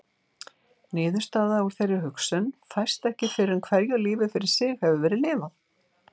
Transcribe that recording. Niðurstaða úr þeirri hugsun fæst ekki fyrr en hverju lífi fyrir sig hefur verið lifað.